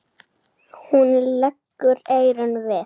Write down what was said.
Hún leggur eyrun við.